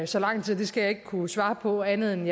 så lang tid det skal jeg ikke kunne svare på andet end